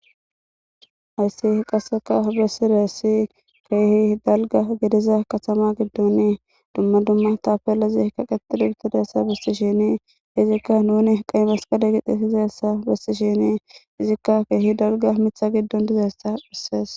Hayissi qasseka bessireessi keehi dalga gediza katama giddoni dumma dumma tafalazi kaqetuduubutidessa besti shini izikka nuni qay masqade gixe sizassa bessishini izikka keehi dalga mitha giddon dizayssa dhissees